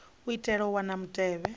u itela u wana mutevhe